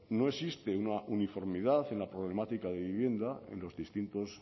no existe una uniformidad en la problemática de vivienda en los distintos